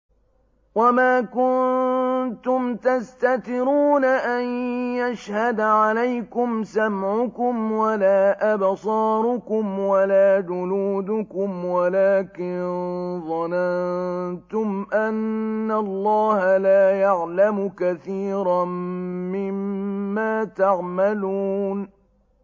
وَمَا كُنتُمْ تَسْتَتِرُونَ أَن يَشْهَدَ عَلَيْكُمْ سَمْعُكُمْ وَلَا أَبْصَارُكُمْ وَلَا جُلُودُكُمْ وَلَٰكِن ظَنَنتُمْ أَنَّ اللَّهَ لَا يَعْلَمُ كَثِيرًا مِّمَّا تَعْمَلُونَ